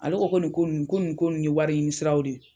Ale ko ko nin ko nunnu ko nin ko nunnu ye wari ɲini siraw de ye.